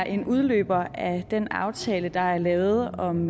en udløber af den aftale der er lavet om